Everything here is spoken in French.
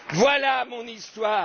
Voilà mon histoire!